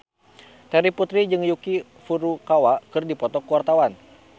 Terry Putri jeung Yuki Furukawa keur dipoto ku wartawan